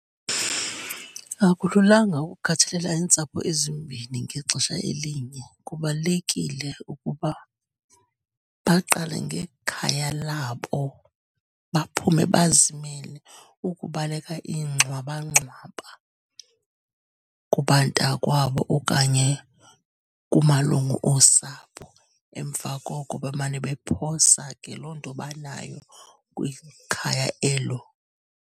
Akululanga ukukhathalela iintsapho ezimbini ngexesha elinye. Kubalulekile ukuba baqale ngekhaya labo, baphume bazimele ukubaleka iingxwabangxwaba kubantakwabo okanye kumalungu osapho. Emva koko bemane bephosa ke loo nto banayo kwikhaya elo.